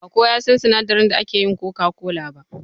Ba kowa ya san sinadarin da ake yin coca-cola ba.